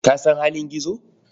Ka san halin Gizo?